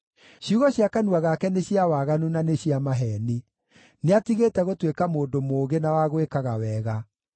Ciugo cia kanua gake nĩ cia waganu na nĩ cia maheeni; nĩatigĩte gũtuĩka mũndũ mũũgĩ na wa gwĩkaga wega.